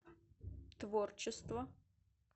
творчество